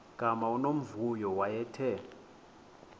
gama unomvuyo wayethe